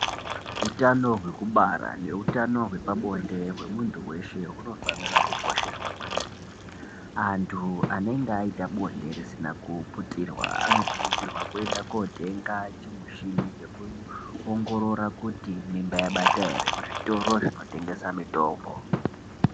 Utano hwekubara neutano hwepabonde hwemuntu weshe hunofanira kukosheswa kwemene. Antu anenge aita bonde risina kuputirwa anokurudzirwa kuenda kotenga chimuchini chekuongorora kuti mimba yabata ere kuzvitoro zvinotengesa mitombo.